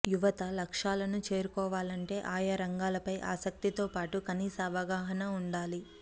యువత లక్ష్యాలను చేరుకోవాలంటే ఆయా రంగాలపై ఆసక్తితో పాటు కనీస అవగాహన ఉండాలి